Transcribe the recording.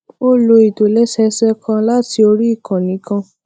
ó lo ìtòlésẹẹsẹ kan láti orí ìkànnì kan